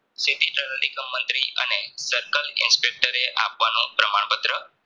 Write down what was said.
મંત્રી અને Circle Inspector રે આપવાનો પ્રમાણ પત્ર